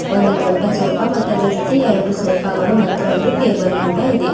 ಒಂದು ದೊಡ್ಡ ಸೋಫಾ ಮತ್ತು ಅದರ್ ಜೊತೆ ಎರಡು ಸೋಫಾ ಗಳು ಮತ್ತು ಒಂದು ಟೇಬಲ್ ಕೂಡ ಇದೆ .